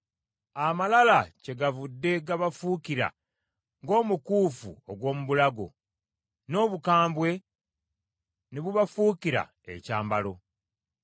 Amalala kyegavudde gabafuukira ng’omukuufu ogw’omu bulago, n’obukambwe ne bubafuukira ekyambalo.